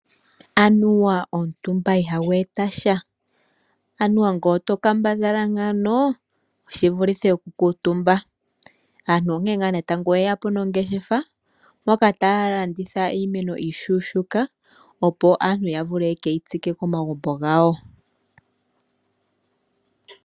Anuwa omutumba ihagu etasha. Anuwa nge oto kambadhala ngaano oshivulithe oku kala omutumba. Aantu onkene ngaa natango yeyapo nongeshefa moka taya landitha iimeno iishuushika opo aantu ya vule yakeyi tsike komagumbo gawo.